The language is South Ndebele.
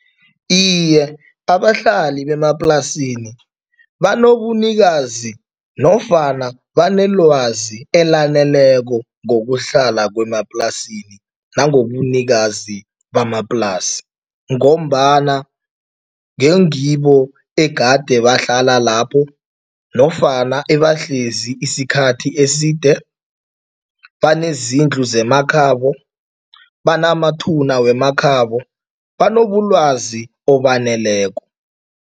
Iye, abahlali bemaplasini banobunikazi nofana banelwazi elaneleko ngokuhlala kwemaplasini nangobunikazi bamaplasi ngombana ngingibo egade bahlala lapho nofana ebahlezi isikhathi eside, banezindlu zemakhabo, banamathuna wemakhabo, banobulwazi obaneleko.